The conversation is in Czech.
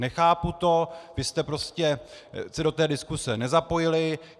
Nechápu to, vy jste prostě se do té diskuze nezapojili.